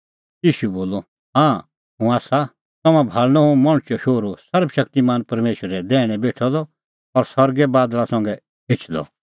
ईशू बोलअ हाँ हुंह आसा तम्हां भाल़णअ हुंह मणछो शोहरू सर्वशक्तिमान परमेशरे दैहणै बेठअ द और सरगै बादल़ा संघै एछदअ